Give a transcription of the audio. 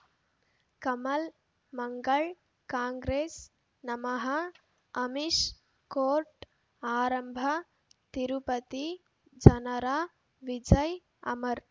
ಕಮಲ್ ಮಂಗಳ್ ಕಾಂಗ್ರೆಸ್ ನಮಃ ಅಮಿಷ್ ಕೋರ್ಟ್ ಆರಂಭ ತಿರುಪತಿ ಜನರ ವಿಜಯ ಅಮರ್